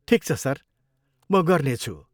ठिक छ सर, म गर्नेछु।